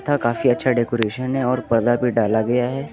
यहां काफी अच्छा डेकोरेशन है और पर्दा भी डाला गया है।